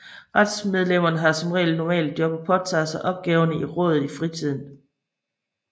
Rådsmedlemmene har som regel normale job og påtager sig opgaverne i rådet i fritiden